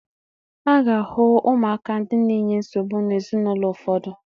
A ga-ahụ ụmụaka ndị na-enye nsogbu n'ezinaụlọ ụfọdụ.